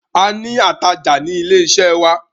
A ni atajà ní ilé iṣẹ́ wa.